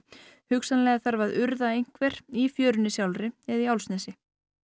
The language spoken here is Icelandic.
hugsanlega þarf að urða einhver í fjörunni sjálfri eða í Álfsnesi